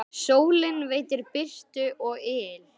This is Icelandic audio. Sólin veitir birtu og yl.